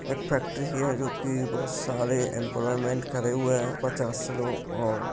एक फैक्ट्री है जो कि बोहोत सारे एम्प्लॉयमेंट करे हुए हैं पचास लोग और --